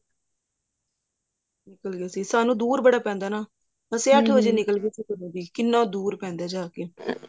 ਸੀ ਸਾਨੂੰ ਦੁਰ ਬੜਾ ਪੈਂਦਾ ਨਾ ਅੱਠ ਵਜੇ ਨਿਕਲ ਗੇ ਸੀ ਘਰੋਂ ਦੀ ਕਿੰਨਾ ਦੁਰ ਪੈਂਦਾ ਜਾ ਕੇ